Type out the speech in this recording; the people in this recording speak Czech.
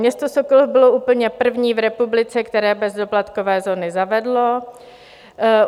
Město Sokolov bylo úplně první v republice, které bezdoplatkové zóny zavedlo.